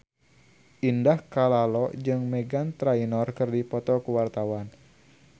Indah Kalalo jeung Meghan Trainor keur dipoto ku wartawan